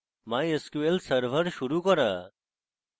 mysql server শুরু করা